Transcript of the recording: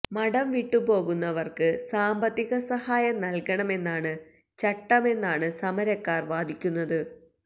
മഠം വിട്ടുപോകുന്നവര്ക്ക് സാമ്പത്തിക സഹായം നല്കണമെന്നാണ് ചട്ടമെന്നാണ് സമരക്കാര് വാദിക്കുന്നത്